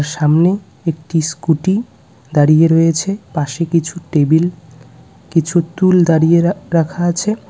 সামনে একটি স্কুটি দাঁড়িয়ে রয়েছে পাশে কিছু টেবিল কিছু টুল দাঁড়িয়ে রা রাখা আছে।